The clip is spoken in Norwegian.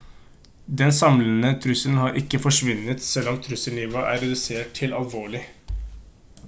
den samlede trusselen har ikke forsvunnet selv om trusselnivået er redusert til alvorlig»